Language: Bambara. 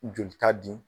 Joli ta di